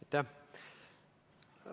Aitäh!